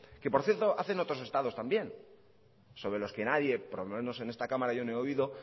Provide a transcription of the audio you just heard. que por cierto hacen otros estados también sobre los que nadie or lo menos en esta cámara yo no he oído